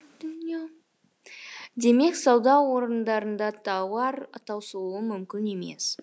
демек сауда орындарында тауар таусылуы мүмкін емес